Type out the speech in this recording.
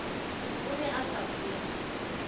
o ne a sa phetse